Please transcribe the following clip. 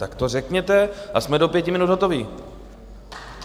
Tak to řekněte a jsme do pěti minut hotovi.